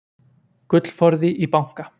gullforði í banka